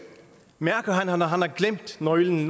mærker han at han har glemt nøglen